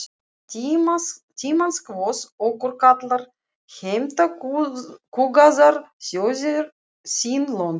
Tímans kvöð okkur kallar, heimta kúgaðar þjóðir sín lönd.